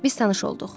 Biz tanış olduq.